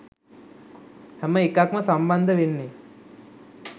හැම එකක්ම සම්බන්ධ වෙන්නේ